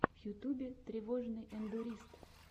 в ютубе тревожный эндурист